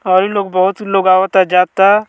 अइ लोग बहुत लोग आवता जाता।